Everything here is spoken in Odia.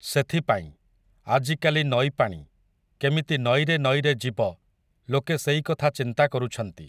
ସେଥିପାଇଁ, ଆଜିକାଲି ନଈପାଣି, କେମିତି ନଈରେ ନଈରେ ଯିବ, ଲୋକେ ସେଇକଥା ଚିନ୍ତା କରୁଛନ୍ତି ।